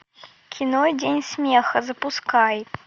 кино день смеха запускай